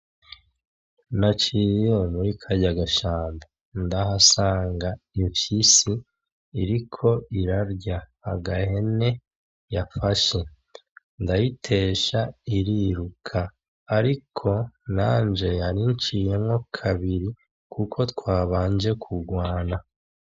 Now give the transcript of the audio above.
Naciye muri karya gashamba, ndahasanga imfyisi iriko irarya agahene yafashe, ndayitesha iriruka. Ariko, nanje yarinciyemwo kabiri kuko twabanje kurwana.